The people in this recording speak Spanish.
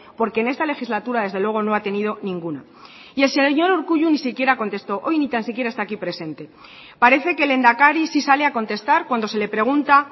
porque en esta legislatura desde luego no ha tenido ninguno y el señor urkullu ni siquiera contestó hoy ni tan siquiera está aquí presente parece que lehendakari sí sale a contestar cuando se le pregunta